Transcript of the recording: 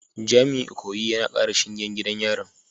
Jami’in Ikoyi yana kara shingen gidan yarin